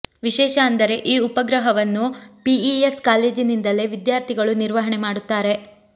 ವಿಶೇಷ ಅಂದರೆ ಈ ಉಪಗ್ರಹವನ್ನು ಪಿಇಎಸ್ ಕಾಲೇಜಿಂದಲೇ ವಿದ್ಯಾರ್ಥಿಗಳು ನಿರ್ವಹಣೆ ಮಾಡುತ್ತಾರೆ